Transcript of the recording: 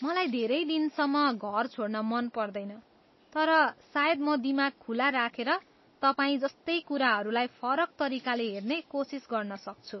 मलाई धेरै दिनसम्म घर छोड्न मन पर्दैन तर सायद म दिमाग खुला राखेर तपाईँजस्तै कुराहरूलाई फरक तरिकाले हेर्ने कोसिस गर्न सक्छु।